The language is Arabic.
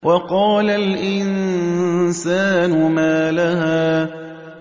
وَقَالَ الْإِنسَانُ مَا لَهَا